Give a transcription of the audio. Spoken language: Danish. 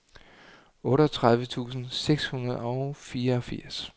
otteogtredive tusind seks hundrede og fireogfirs